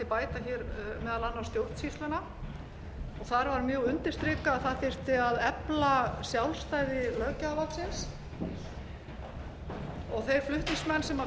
bæta meðal annars stjórnsýsluna þar var mjög undirstrikað að efla þyrfti sjálfstæði löggjafarvaldsins og þeir flutningsmenn sem